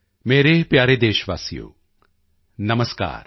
ਮੇਰੇ ਪਿਆਰੇ ਦੇਸ਼ਵਾਸੀਓ ਨਮਸਕਾਰ